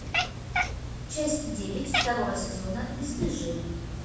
часть девять второго сезона бесстыжие